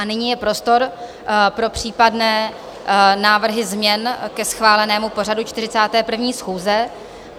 A nyní je prostor pro případné návrhy změn ke schválenému pořadu 41. schůze.